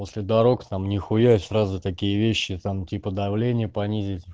после дорог сам ни хуя сразу такие вещи там типа давление понизить